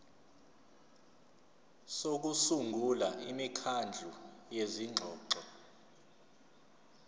sokusungula imikhandlu yezingxoxo